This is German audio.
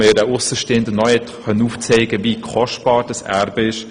Als Aussenstehender konnte er aufzeigen, wie kostbar dieses Erbe ist.